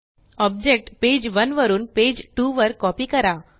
object page one वरून page two वर copy करा